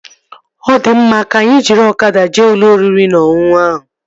Ọ di mma, ka anyị jiri ọkada jee ụlọ oriri na ọṅụṅụ ahụ